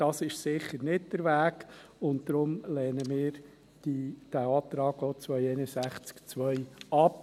Dies ist sicher nicht der Weg, und deshalb lehnen wir den Antrag zu Artikel 261 Absatz 2 ab.